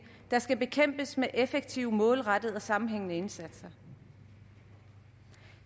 der skal bekæmpes med effektive målrettede og sammenhængende indsatser